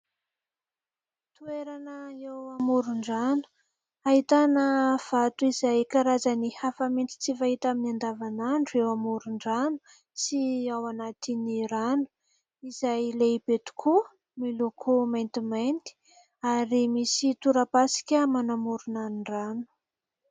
Toerana eo amoron-drano ahitana vato izay karazany hafa mihitsy tsy fahita amin'ny andavanandro eo amoron-drano sy ao anatin'ny rano, izay lehibe tokoa miloko maintimainty. Ary misy tora-pasika manamorona ny rano.